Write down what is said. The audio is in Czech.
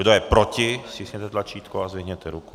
Kdo je proti, stiskněte tlačítko a zvedněte ruku.